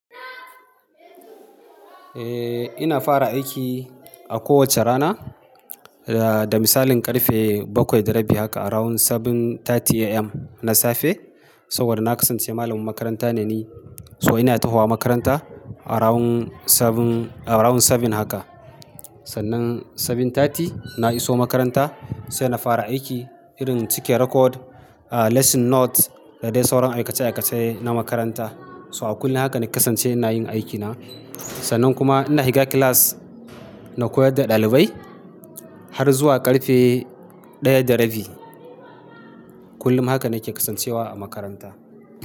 Eh ina fara aiki a kowacce rana, da misalin ƙarfe bakwai da rabi haka around seven thirty AM na safe. Saboda na kasance malamin makaranta ne ni, so ina tahowa makaranta around sabin, around sabin haka. Sannan seven thirty na iso makaranta sai na fara aiki irin cike record, a lesson note, da dai sauran aikace-aikace na makaranta. To a kullum haka na kasance ina yin aikina. Sannan kuma ina shiga class na koyar da ɗalibai har zuwa ƙarfe ɗaya da rabi. Kullum haka nake kasancewa a makaranta.